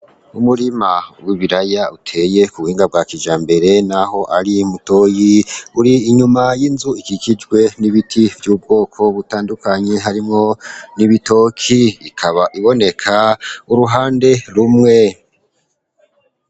Umurima w'ibiraya uteye ku buhinga bwa kijambere n'aho ari mutoyi, uri inyuma y'inzu ikikijwe n'ibiti vy'ubwoko butandukanye harimwo n'ibitoki, ikaba iboneka uruhande rumwe.